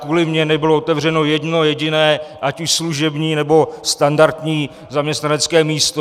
Kvůli mně nebylo otevřeno jedno jediné ať už služební, nebo standardní zaměstnanecké místo.